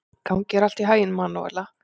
Gangi þér allt í haginn, Manúela.